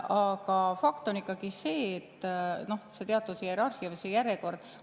Aga fakt on ikkagi see, et noh, on teatud hierarhia või järjekord.